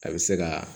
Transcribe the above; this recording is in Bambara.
A bɛ se ka